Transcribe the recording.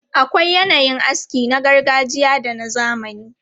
Akwai yanayin aski na gargajiya da na zamani.